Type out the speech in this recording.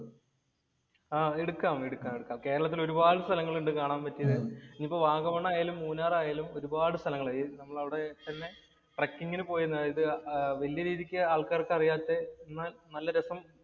ആഹ് എടുക്കാം, എടുക്കാം. കേരളത്തില്‍ ഒരുപാട് സ്ഥലങ്ങള്‍ ഉണ്ട് കാണാന്‍ പറ്റിയത്. ഇനിയിപ്പോ വാഗമൺ ആയാലും, മൂന്നാർ ആയാലും ഒരുപാട് സ്ഥലങ്ങൾ നമ്മൾ അവിടെ ട്രക്കിംഗിന് പോയത്. അതായത് വലിയ രീതിക്ക് ആള്‍ക്കാര്‍ക്ക് അറിയാത്തെ എന്നാല്‍ നല്ല രസം